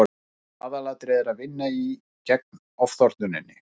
aðalatriðið er að vinna gegn ofþornuninni